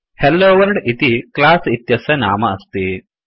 hello world इति class इत्यस्य नाम अस्ति